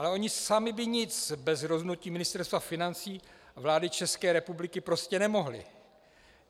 Ale oni sami by nic bez rozhodnutí Ministerstva financí a vlády České republiky prostě nemohli.